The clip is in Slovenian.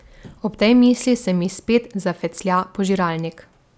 Ob tej misli se mi spet zafeclja požiralnik.